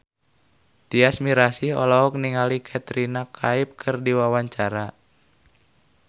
Tyas Mirasih olohok ningali Katrina Kaif keur diwawancara